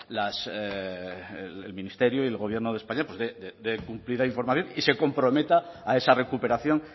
las el ministerio y el gobierno de españa pues dé cumplida información y se comprometa a esa recuperación